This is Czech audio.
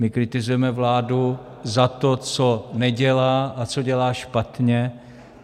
My kritizujeme vládu za to, co nedělá a co dělá špatně.